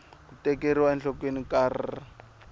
ku tekeriwa enhlokweni ka r